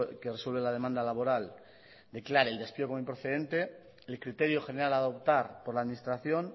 que resuelve la demanda laboral declare el despido como improcedente el criterio general a adoptar por la administración